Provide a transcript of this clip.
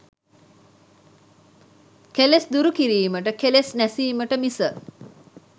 කෙලෙස් දුරු කිරීමට, කෙලෙස් නැසීමට මිස